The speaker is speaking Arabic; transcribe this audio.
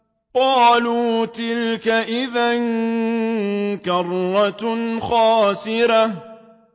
قَالُوا تِلْكَ إِذًا كَرَّةٌ خَاسِرَةٌ